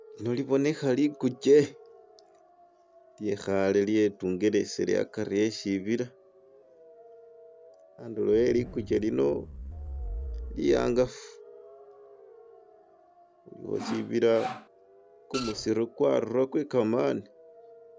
Lino libonekha likukye lyekhale lyetungelesile a'kari eshibila andulo e'likukye lino liangafu aliwo shibila kumusiru kwarura kwe kamani.